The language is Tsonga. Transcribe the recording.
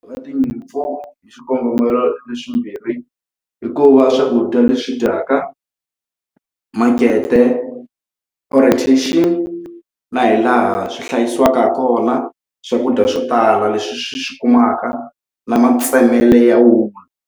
tinyimpfu hi xikongomelo leswimbirhi, hikuva swakudya leswi dyaka, makete, orientation, na hi laha swi hlayisiwaka kona swakudya swo tala leswi swi swi kumaka, na matsemelo ya wulu.